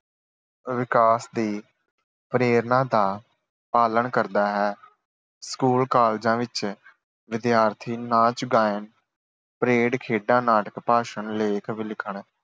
ਵਿਕਾਸ ਦੀ ਪ੍ਰੇਰਣਾ ਦਾ ਪਾਲਣ ਕਰਦਾ ਹੈ। ਸਕੂਲ, ਕਾਲਜਾਂ ਵਿੱਚ ਵਿਦਿਆਰਥੀ ਨਾਚ ਗਾਇਨ, ਪਰੇਡ, ਖੇਡਾਂ, ਨਾਟਕ, ਭਾਸ਼ਣ, ਲੇਖ ਲਿਖਣ